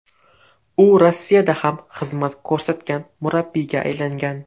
U Rossiyada ham xizmat ko‘rsatgan murabbiyga aylangan.